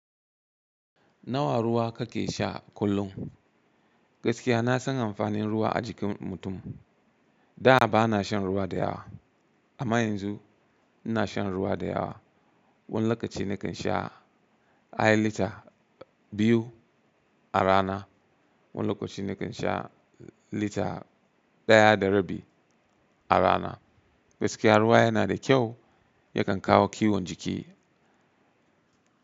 Nawa ruwa kake sha kullum? Gaskiya na san amfanin ruwa a jikin mutum. Da ba na shan ruwa da yawa amma yanzu ina shan ruwa da yawa. Wani lokaci nakan sha ai lita biyu a rana, wani lokaci nakan sha lita ɗaya da rabi a rana. Gaskiya ruwa yana da kyau, yakan kawo kiwon jiki.